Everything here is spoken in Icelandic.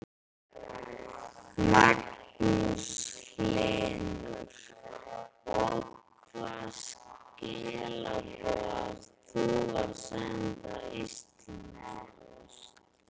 Magnús Hlynur: Og hvaða skilaboð átt þú til Íslandspóst?